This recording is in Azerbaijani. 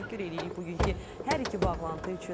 Təşəkkür eləyirik bugünkü hər iki bağlantı üçün.